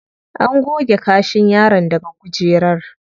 An goge kashin yaron daga kujerar.